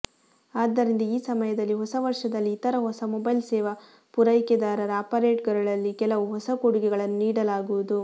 ಆದ್ದರಿಂದ ಈ ಸಮಯದಲ್ಲಿ ಹೊಸ ವರ್ಷದಲ್ಲಿ ಇತರ ಹೊಸ ಮೊಬೈಲ್ ಸೇವಾ ಪೂರೈಕೆದಾರರ ಆಪರೇಟರ್ಗಳಲ್ಲಿ ಕೆಲವು ಹೊಸ ಕೊಡುಗೆಗಳನ್ನು ನೀಡಲಾಗುವುದು